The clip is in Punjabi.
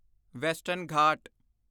ਵੈਸਟਰਨ ਘਾਟ